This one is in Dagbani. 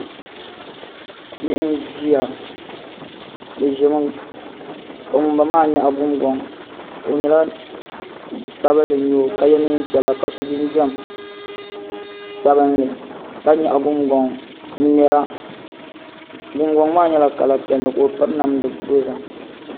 Bihi n ʒiya bi ʒimi ka ŋunbala maa nyaɣi gungoŋ bia sabinli n nyɛo ka yɛ neen piɛla ka so jinjɛm sabinli ka nyaɣa gungoŋ n ŋmɛra gungoŋ maa nyɛla kala piɛlli ka o piri namdi dozim